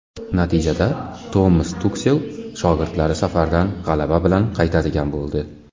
Natijada Tomas Tuxel shogirdlari safardan g‘alaba bilan qaytadigan bo‘ldi.